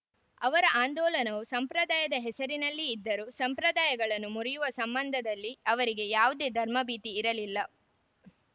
ಅವರ ಆಂದೋಲನವು ಸಂಪ್ರದಾಯದ ಹೆಸರಿನಲ್ಲಿ ಇದ್ದರೂ ಸಂಪ್ರದಾಯಗಳನ್ನು ಮುರಿಯುವ ಸಂಬಂಧದಲ್ಲಿ ಅವರಿಗೆ ಯಾವುದೇ ಧರ್ಮಭೀತಿ ಇರಲಿಲ್ಲ